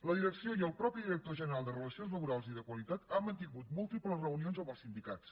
la direcció i el mateix director general de relacions laborals i de qualitat han mantingut múltiples reunions amb els sindicats